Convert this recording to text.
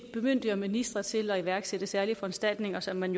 bemyndiger ministre til at iværksætte særlige foranstaltninger som man